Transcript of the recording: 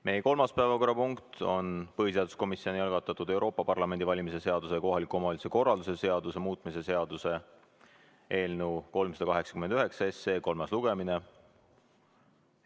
Meie kolmas päevakorrapunkt on põhiseaduskomisjoni algatatud Euroopa Parlamendi valimise seaduse ja kohaliku omavalitsuse korralduse seaduse muutmise seaduse eelnõu 389 kolmas lugemine.